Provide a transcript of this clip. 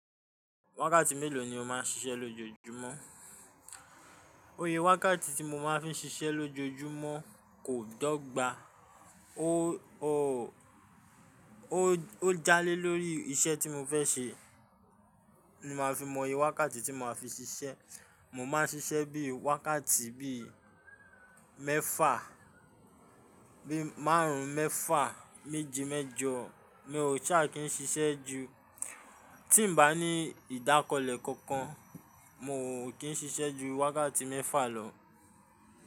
Wákàtí mélòó ni o máa ń ṣiṣẹ́ lójoojúmọ́? Iye wákàtí tí mo máa ń fi ṣiṣẹ́ lójoojúmọ́ kò dọ́gba, ó, ó, ó jáálé lórí iṣẹ́ tí mo fẹ́ ṣe ni màá fi mọ oyè wákàtí tí mo máa fi ṣiṣẹ́. Mo má ń ṣiṣẹ́ bí i wákàtí bí i mẹ́fà, bí i márùn-ún mẹ́fà, méje mẹ́jọ, mi ò ṣà kí ń ṣiṣẹ́ ju. Tí n bá ń ní ìdákọlẹ kankan, mo ò kí ń ṣiṣẹ́ ju wákàtí mẹ́fà lọ.